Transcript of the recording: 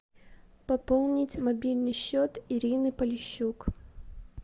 пополнить мобильный счет ирины полищук